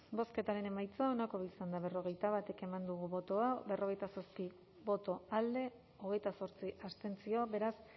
bozketaren emaitza onako izan da berrogeita bat eman dugu bozka berrogeita zazpi boto alde hogeita zortzi abstentzio beraz